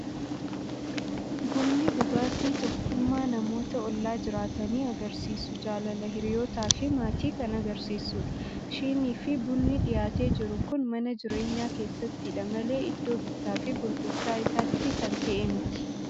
Bunni dhugaatii tokkummaa namoota ollaa jiraatanii agarsiisu, jaalala hiriyyootaa fi maatii kan argisiisudha. Shinii fi bunni dhiyaatee jiru kun mana jireenyaa keessattidha malee iddoo bittaa fi gurgurtaa isaatti kan ta'e miti.